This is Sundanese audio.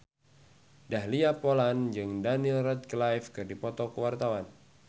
Dahlia Poland jeung Daniel Radcliffe keur dipoto ku wartawan